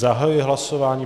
Zahajuji hlasování.